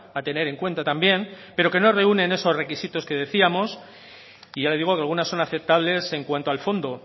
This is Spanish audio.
a tener en cuenta también pero que no reúnen esos requisitos que decíamos y ya le digo que algunas son aceptables en cuanto al fondo